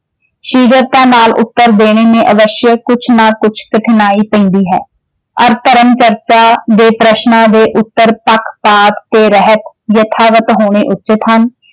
ਸ਼ੀਘਰਤਾ ਨਾਲ ਉੱਤਰ ਦੇਣੇ ਨੇ ਅਵੱਸ਼ ਕੁਛ ਨਾ ਕੁਛ ਕਠਿਨਾਈ ਪੈਂਦੀ ਹੈ ਔਰ ਧਰਮ ਚਰਚਾ ਦੇ ਪ੍ਰਸ਼ਨਾਂ ਦੇ ਉੱਤਰ ਪੱਖਪਾਤ ਦੇ ਰਹਿਤ ਯਥਾਵਤ ਹੋਣੇ ਉੱਚਿਤ ਹਨ।